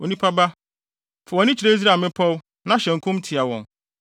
“Onipa ba, fa wʼani kyerɛ Israel mmepɔw, na hyɛ nkɔm tia wɔn,